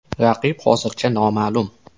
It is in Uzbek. Raqib hozircha noma’lum.